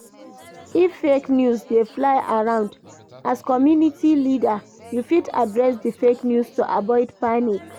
If fake news dey fly around, as community leader you fit address di fake news to avoid panic